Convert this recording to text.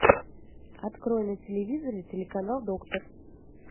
открой на телевизоре телеканал доктор